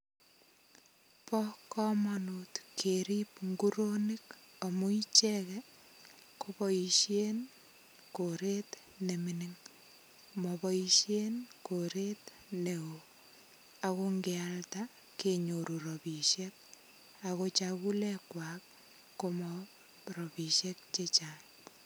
Bo komonut kerip nguronik amu icheket kiboishen koret ne mining maboishen koret neo ako ngialda kenyoru ropishek ako chakulek kwach konu ropisiek che chang.